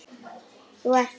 Þú ert þá.?